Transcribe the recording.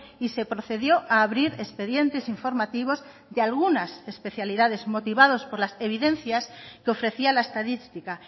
y se procedió a abrir expedientes informativos de algunas especialidades motivados por las evidencias que ofrecía la estadística